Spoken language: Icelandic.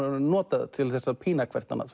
nota það til að pína hvort annað